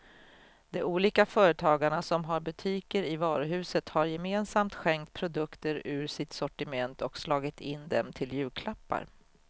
De olika företagarna som har butiker i varuhuset har gemensamt skänkt produkter ur sitt sortiment och slagit in dem till julklappar.